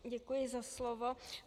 Děkuji za slovo.